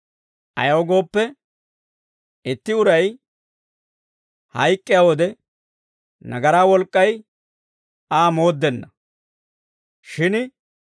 Ayaw gooppe, itti uray hayk'k'iyaa wode nagaraa wolk'k'ay Aa mooddenna; shin